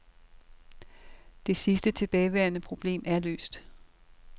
Det sidste tilbageværende problem er løst.